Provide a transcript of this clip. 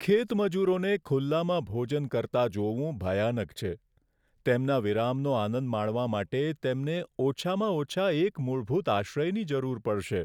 ખેતમજૂરોને ખુલ્લામાં ભોજન કરતા જોવું ભયાનક છે. તેમના વિરામનો આનંદ માણવા માટે તેમને ઓછામાં ઓછા એક મૂળભૂત આશ્રયની જરૂર પડશે.